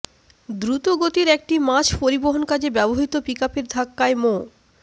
দ্রুত গতির একটি মাছ পরিবহন কাজে ব্যবহৃত পিকআপের ধাক্কায় মো